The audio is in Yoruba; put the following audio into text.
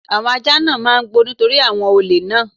Àwọn ajá náà ń gbó nítorí àwọn olè náà.